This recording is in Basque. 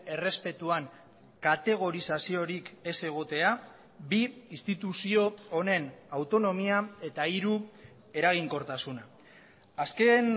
errespetuan kategorizaziorik ez egotea bi instituzio honen autonomia eta hiru eraginkortasuna azken